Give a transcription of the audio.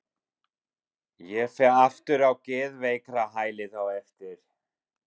Ég fer aftur á geðveikrahælið á eftir.